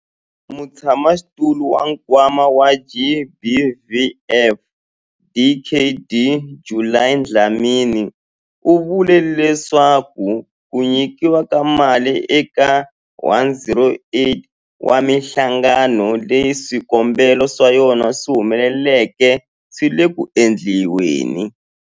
Mutshamaxitulu wa Nkwama wa GBVF, Dkd Judy Dlamini, u vule leswaku ku nyikiwa ka mali eka 108 wa mihlangano leyi swikombelo swa yona swi humeleleke swi le ku endliweni.